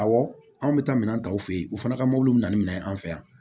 Awɔ anw bɛ taa minɛn ta u fɛ yen u fana ka mobiliw bɛ na ni minɛn ye an fɛ yan